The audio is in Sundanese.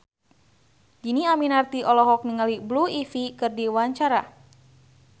Dhini Aminarti olohok ningali Blue Ivy keur diwawancara